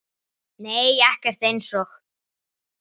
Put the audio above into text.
Nei ekkert eins og